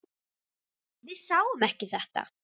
Við sáum ekki þetta!